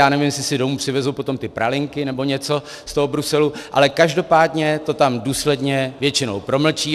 Já nevím, jestli si domů přivezou potom ty pralinky nebo něco z toho Bruselu, ale každopádně to tam důsledně většinou promlčí.